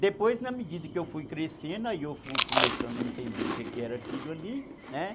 Depois, na medida que eu fui crescendo, aí eu fui começando a entender o que era aquilo ali, né?